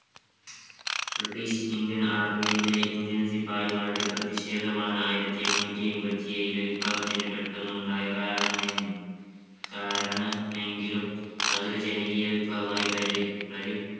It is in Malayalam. british-indian army യിലെ indian സിപായിമാരുടെ പ്രതിഷേധമാണ് ആയിരത്തി എണ്ണൂറ്റി അയ്മ്പത്തി ഏഴിലെ വിപ്ലവത്തിന് പെട്ടെന്നുണ്ടായ കാരണ നയം കാരണമെങ്കിലും അതൊരു ജനകീയ വിപ്ലവമായി പരി പ്രതി